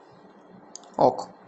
ок